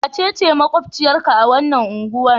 Wace ce maƙwabciyarka a wannan unguwar?